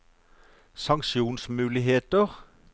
sanksjonsmuligheter